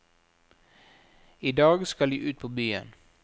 I dag skal de ut på byen.